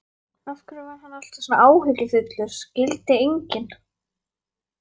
Af hverju hann var alltaf svona áhyggjufullur skildi enginn.